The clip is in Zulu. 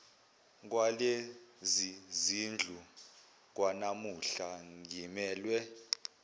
kwalezizindlu okwanamuhla ngimelwe